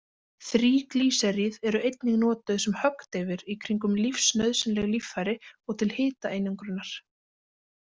Þríglýseríð eru einnig notuð sem höggdeyfir í kringum lífsnauðsynleg líffæri og til hitaeinangrunar.